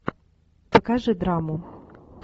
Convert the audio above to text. покажи драму